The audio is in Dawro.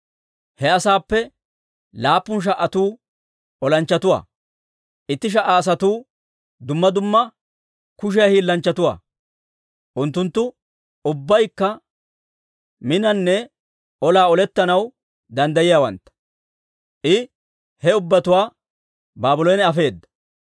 He asaappe laappun sha"atuu olanchchatuwaa; itti sha"a asatuu dumma dumma kushiyaa hiillanchchatuwaa; unttunttu ubbaykka minanne olaa olettanaw danddayiyaawantta. I he ubbatuwaa Baabloona afeedda.